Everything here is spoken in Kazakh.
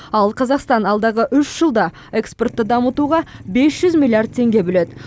ал қазақстан алдағы үш жылда экспортты дамытуға бес жүз миллиард теңге бөледі